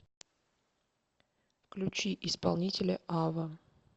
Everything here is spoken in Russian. включи исполнителя ава